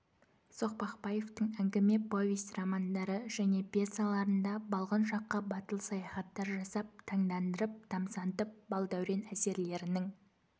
соқпақбаевтың әңгіме повесть романдары және пьесаларында балғын шаққа батыл саяхаттар жасап таңдандырып тамсантып бал дәурен әсерлерінің